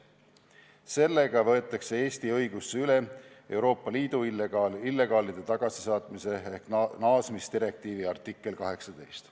Sellega võetakse Eesti õigusesse üle Euroopa Liidu illegaalide tagasisaatmise ehk naasmisdirektiivi artikkel 18.